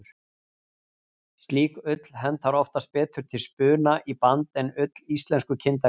Slík ull hentar oftast betur til spuna í band en ull íslensku kindarinnar.